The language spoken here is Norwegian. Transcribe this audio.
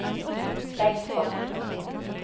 velstanden